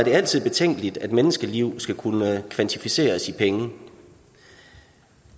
det altid betænkeligt at menneskeliv skal kunne kvantificeres i penge